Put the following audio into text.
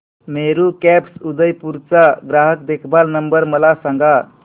Meru cabs Udaipur चा ग्राहक देखभाल नंबर मला सांगा